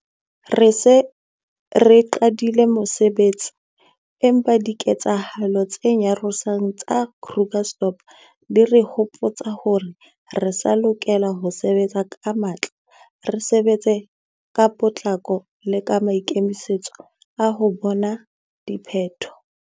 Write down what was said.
Re se re qadile mosebetsi, empa diketsehalo tse nyarosang tsa Krugersdorp di re hopotsa hore re sa lokela ho sebetsa ka matla, re sebetsa ka potlako le ka maikemisetso a ho bona diphetho.